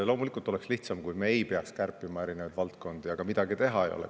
Loomulikult oleks lihtsam, kui me ei peaks kärpima erinevaid valdkondi, aga midagi teha ei ole.